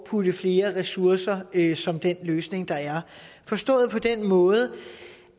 putte flere ressourcer i som den løsning der er forstået på den måde